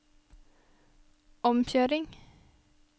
omkjøring